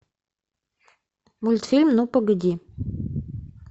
мультфильм ну погоди